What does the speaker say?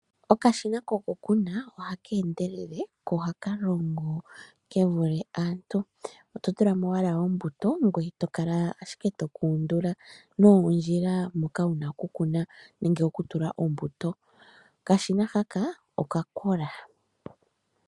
Okashina kokukuna ohaka endelele ko oha ka longo ke vule aantu. Oto tula mo ombuto ngoye to kala ashike to ka undula noondjila moka wu na okukuna nenge okutula ombuto. Okashina haka okakola.